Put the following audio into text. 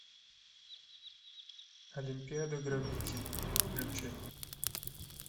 олимпиада грабителей включай